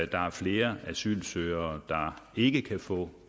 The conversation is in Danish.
der er flere asylsøgere der ikke kan få